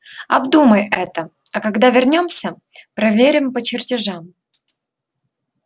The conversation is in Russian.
обдумай это а когда вернёмся проверим по чертежам